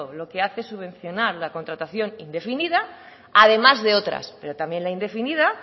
lo que hace subvencionar la contratación indefinida además de otras pero también la indefinida